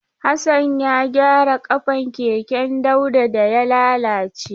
Hassan ya gyara ƙafan keken Dauda da ya lalace.